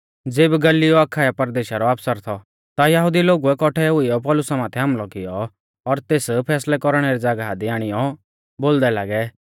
ज़ेबी गल्लियो अखाया परदेशा रौ आफसर थौ ता यहुदी लोगुऐ कौट्ठै हुईयौ पौलुसा माथै हामलौ कियौ और तेस फैसलै कौरणै री ज़ागाह दी आणियौ बोलदै लागै